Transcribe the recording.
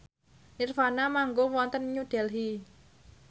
nirvana manggung wonten New Delhi